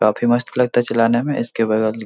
काफी मस्त लगता है चलाने में इसके बगल --